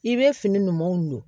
I bɛ fini ɲumanw don